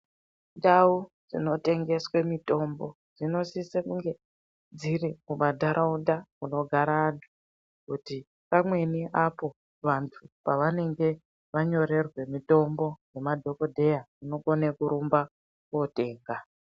Ndau dzino tengeswe mitombo dzino sisa kunge dziri mu mandaraunda muno gara anhu kuti pamweni apo vantu pa vanenge va nyorerwe mitombo nema dhokodheya uno kone kurumba kotenga.